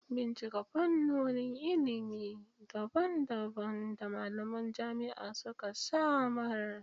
Bincika fannonin ilimi daban-daban da malaman jami'a suka samar.